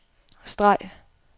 streg